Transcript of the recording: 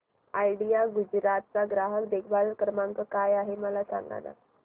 idea Gujarat चा ग्राहक देखभाल नंबर काय आहे मला सांगाना